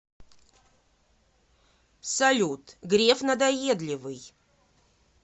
салют греф надоедливый